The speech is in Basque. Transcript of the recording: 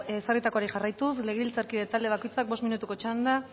ezarritakoari jarraituz legebiltzarkide talde bakoitzak bost minutuko txanda